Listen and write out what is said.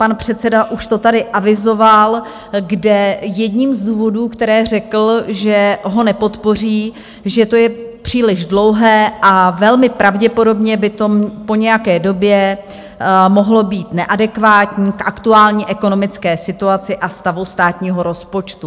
Pan předseda už to tady avizoval, kde jedním z důvodů, které řekl, že ho nepodpoří, že to je příliš dlouhé a velmi pravděpodobně by to po nějaké době mohlo být neadekvátní k aktuální ekonomické situaci a stavu státního rozpočtu.